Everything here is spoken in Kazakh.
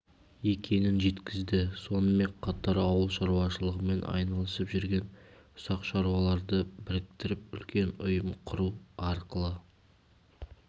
екенін жеткізді сонымен қатар ауыл шаруашылығымен айналысып жүрген ұсақ шаруаларды біріктіріп үлкен ұйым құру арқылы